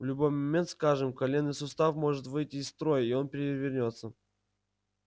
в любой момент скажем коленный сустав может выйти из строя и он перевернётся